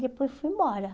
Depois fui embora.